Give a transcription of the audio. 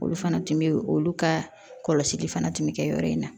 Olu fana tun bɛ olu ka kɔlɔsili fana tun bɛ kɛ yɔrɔ in na